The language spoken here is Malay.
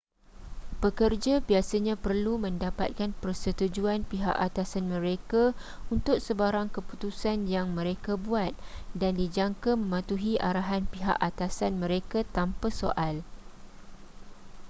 pekerja biasanya perlu mendapatkan persetujuan pihak atasan mereka untuk sebarang keputusan yang mereka buat dan dijangka mematuhi arahan pihak atasan mereka tanpa soal